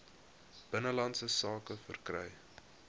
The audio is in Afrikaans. binnelandse sake verkry